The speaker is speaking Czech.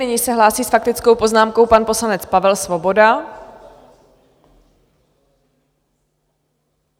Nyní se hlásí s faktickou poznámkou pan poslanec Pavel Svoboda.